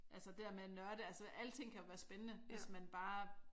Altså det dér med at nørde altså alting kan jo være spændende hvis man bare